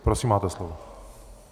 Prosím, máte slovo.